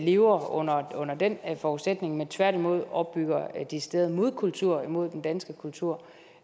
lever under under den forudsætning men tværtimod opbygger en decideret modkultur mod den danske kultur